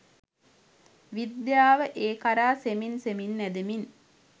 "විද්‍යාව" ඒ කරා සෙමින් සෙමින් ඇදෙමින්